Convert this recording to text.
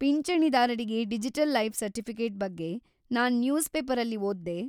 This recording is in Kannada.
ಪಿಂಚಣಿದಾರರಿಗೆ ಡಿಜಿಟಲ್‌ ಲೈಫ್‌ ಸರ್ಟಿಫಿಕೇಟ್‌ ಬಗ್ಗೆ ನಾನ್‌ ನ್ಯೂಸ್‌ ಪೇಪರಲ್ಲಿ ಓದ್‌ದೆ.